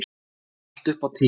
Allt upp á tíu.